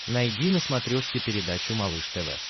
найди на смотрешке передачу малыш тв